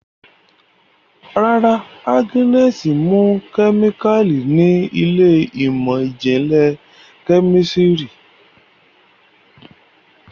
Ràrá Agnes mú kemikali ní Ilé ìmọ̀n-jinlẹ Kẹ́mísìrì.